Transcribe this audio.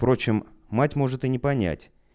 впрочем мать может и не понять